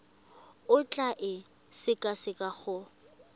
o tla e sekaseka go